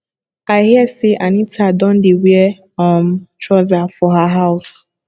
i hear say anita don dey wear um trouser for her house